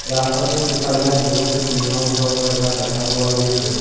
ৰাস্তাটোৰ সিফালে বহুতো টিঙৰ ঘৰ থকা দেখা পোৱা গৈছে।